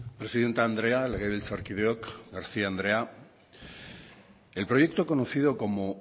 presidente andrea legebiltzarkideok garcía andrea el proyecto conocido como